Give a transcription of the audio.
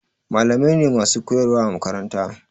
Malamai ne masu koyarwa a makaranta.